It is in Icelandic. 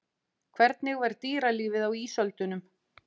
Hvernig var dýralífið á ísöldunum?